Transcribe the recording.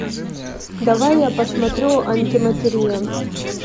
давай я посмотрю антиматерия